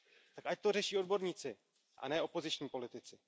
Tak ať to řeší odborníci a ne opoziční politici.